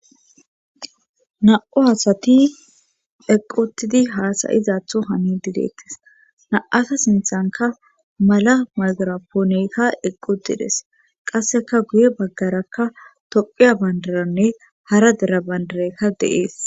na7u asati eqqutidi haasayizatho hani dideettes na7asa sinthanka mala mazara pooneyka eqqudides qasseka guye baggarakka toqiya bandaranne hara dera bandarekka deees